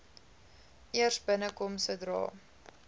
eers binnekom sodra